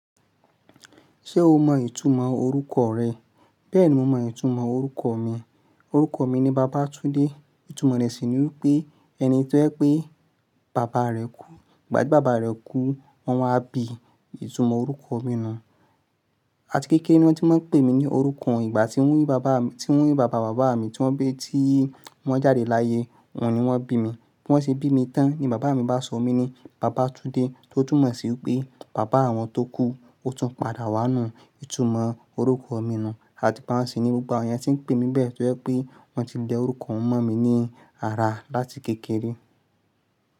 Ṣé o mọ ìtumọ̀ orúkọ rẹ? Bẹ́ẹ̀ni mo mọ ìtumọ̀ orúkọ mi. Òrúkọ mi ni Bàbátúndé. Ìtumọ̀ rẹ̀ sì ni wípé ẹni tó jẹ́ pé bàbá rẹ kú. Igbà tí bàbá rẹ kú, wọ́n wáa bi. Ìtumọ̀ orúkọ mi nùun. Àti kékeré ni wọ́n ti máa ń pè mí ní orúkọ yi. Ìgbà tíi bàbá mi, tíí bàbá bàbá mi tí wọ́n bí tí wọ́n jáde láyé, òhun ni wọ́n bí mi. Bí wọ́n ṣe bí mi tán ni bàbá mi bá sọ mí ní Bàbátúndé. Tó túmọ̀ sí wipé bàbá awọn tó kú ó tún padà wá nù. Ìtumọ̀ orúkọ mi nù. Àti igbá ń sì ní gbogbọ̀ àwọn èeyàn tí ń pè mí bẹ́ẹ̀ tó jẹ́ pé wọ́n ti lẹ orúkọ hun mọ̀ mí ní ara láti kékeré.